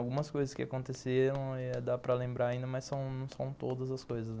Algumas coisas que aconteceram, não ia dar para lembrar ainda, mas são são todas as coisas.